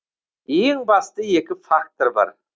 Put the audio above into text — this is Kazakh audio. ең басты екі фактор бар